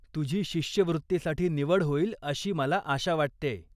तुझी शिष्यवृत्तीसाठी निवड होईल अशी मला आशा वाटतेय.